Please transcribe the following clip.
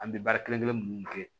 An bɛ baara kelen minnu kɛ